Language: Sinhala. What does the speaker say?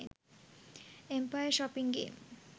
empire shopping game